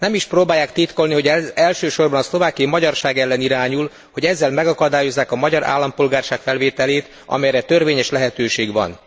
Nem is próbálják titkolni, hogy ez elsősorban a szlovákiai magyarság ellen irányul, hogy ezzel megakadályozzák a magyar állampolgárság felvételét, amelyre törvényes lehetőség van.